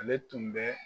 Ale tun bɛ